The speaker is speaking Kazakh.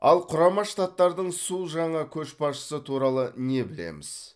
ал құрама штаттардың су жаңа көшбасшысы туралы не білеміз